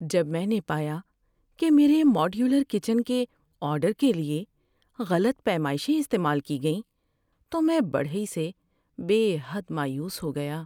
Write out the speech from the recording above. جب میں نے پایا کہ میرے ماڈیولر کچن کے آرڈر کے لیے غلط پیمائشیں استعمال کی گئیں تو میں بڑھئی سے بے حد مایوس ہو گیا۔